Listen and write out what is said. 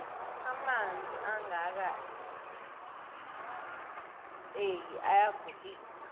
amanzi angaka hinzeki ayagulise